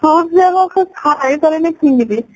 fruits ଗୁଡାକ ଖାଇ ପାରେନି ଫିଙ୍ଗିଦିଏ